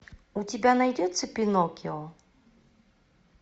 у тебя найдется пиноккио